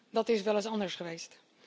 Dat is weleens anders geweest.